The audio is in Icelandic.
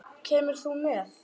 Kemur þú með?